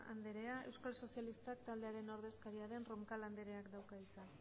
andrea euskal sozialistak taldearen ordezkaria den roncal andreak dauka hitza